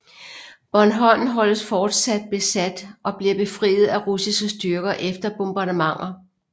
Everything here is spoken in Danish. Bornholm holdes fortsat besat og bliver befriet af russiske styrker efter bombardementer